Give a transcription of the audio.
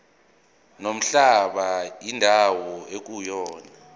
nomhlaba indawo ekuyona